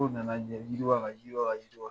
Ko nana yiriwa ka yiriwa ka yiriwa